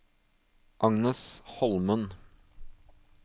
Agnes Holmen